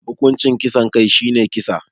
Hukuncin kisan kai shine kisa.